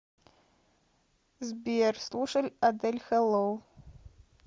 сбер слушаль адель хэллоу